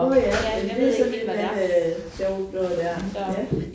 Nåh ja men det sådan et eller andet sjovt noget der ja